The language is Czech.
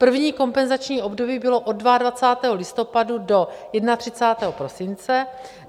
První kompenzační období bylo od 22. listopadu do 31. prosince.